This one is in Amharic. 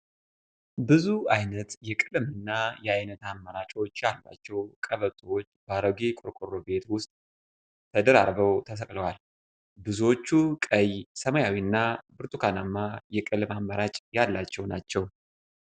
ብዙ አይነት የቀለም እና የአይነት አማራጮች ያሏቸው ቀበቶዎች በአሮጌ ቆርቆሮ ቤት ዉስጥ ተደራርበው ተሰቅለዋል። ብዙዎቹ ቀይ ሰማያዊ እና ብርቱካናማ የቀለም አማራጭ ያላቸው ናቸው።